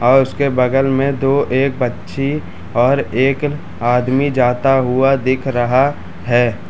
और उसके बगल में दो एक बच्ची और एक आदमी जाता हुआ दिख रहा है।